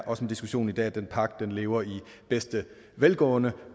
også i diskussionen i dag at den pagt lever i bedste velgående